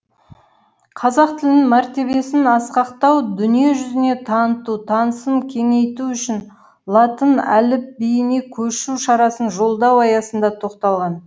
қазақ тілінің мәртебесін асқақтату дүние жүзіне таныту танысын кеңейту үшін латын әліпбиіне көшу шарасын жолдау аясында тоқталған